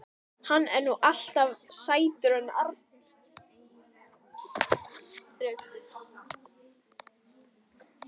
Hann er nú alltaf sætur hann Arnar.